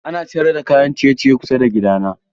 Ana sayar da kayan ciye-ciye kusa da gida na.